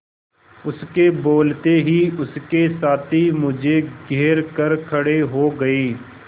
उसके बोलते ही उसके साथी मुझे घेर कर खड़े हो गए